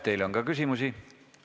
Teile on ka küsimusi.